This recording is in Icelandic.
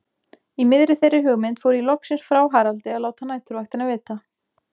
Í miðri þeirri hugmynd fór ég loksins frá Haraldi að láta næturvaktina vita.